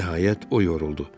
Nəhayət o yoruldu.